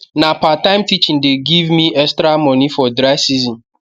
na part time teaching the give me extra moni for dry season